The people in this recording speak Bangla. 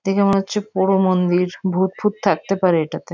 দেখে মনে হচ্ছে পোড়ো মন্দির ভুত ফুত থাকতে পারে এটাতে।